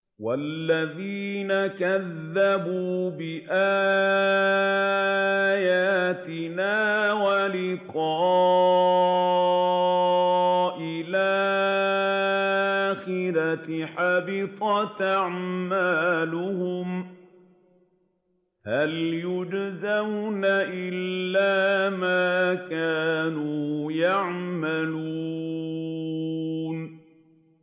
وَالَّذِينَ كَذَّبُوا بِآيَاتِنَا وَلِقَاءِ الْآخِرَةِ حَبِطَتْ أَعْمَالُهُمْ ۚ هَلْ يُجْزَوْنَ إِلَّا مَا كَانُوا يَعْمَلُونَ